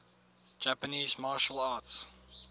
japanese martial arts